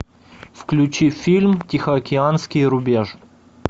включи фильм тихоокеанский рубеж